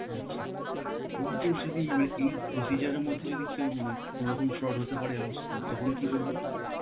আচ্ছা, in case যদি মান~ এই procedure এরমধ্যে যদি কেউ মানে, কোনরকম fraud হতে পারে, এমন স~ তখন কি করব?